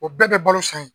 O bɛɛ bɛ balo san in